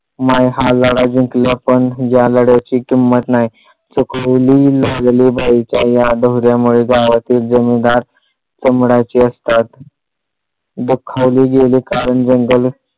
माई हा लढा जिंकल्या पण या लढाया ची किंमत नाही. सुखावले लागणे या बाईच्या या गावातील जणू दात चमडाचे असतात दुखावले गेले का रंजले